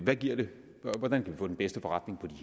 hvad giver det hvordan kan vi få den bedste forretning i